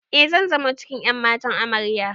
E, zan zamo cikin ƴan matan Amarya.